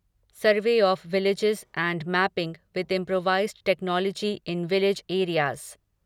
survey of villages and mapping with improvised technology in village areas